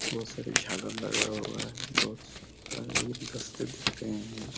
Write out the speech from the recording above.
बहुत सारी झालर लगाया हुआ है बहुत सारी गुलदश्ते दिख रहे है।